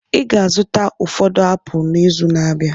Ị ga-azụta ụfọdụ apụl n'izu na-abịa.